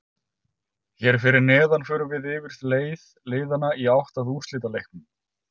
Hér fyrir neðan förum við yfir leið liðanna í átt að úrslitaleiknum.